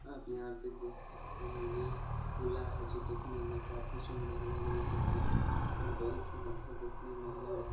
आप यहां पे देख सकते है ये पुल्ला है जो देखने में काफी सुंदर लग रहे है और बोहुत ही अच्छा देखने में लग रहा --